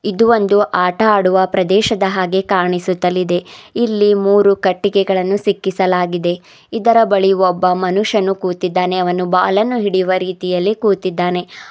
ಇದು ಒಂದು ಆಟವಾಡುವ ಪ್ರದೇಶದ ಹಾಗೆ ಕಾಣಿಸುತ್ತಲಿದೆ ಇಲ್ಲಿ ಮೂರು ಕಟ್ಟಿಗೆಗಳನ್ನು ಸಿಕ್ಕಿಸಲಾಗಿದೆ ಇದರ ಬಳಿ ಒಬ್ಬ ಮನುಷ್ಯನು ಕೂತಿದ್ದಾನೆ ಅವನು ಬಾಲ ನ್ನು ಹಿಡಿಯುವ ರೀತಿ ಕೂತಿದ್ದಾನೆ.